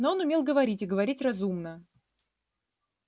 но он умел говорить и говорить разумно